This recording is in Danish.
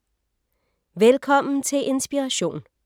Velkommen til Inspiration.